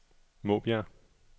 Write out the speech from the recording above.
Måbjerg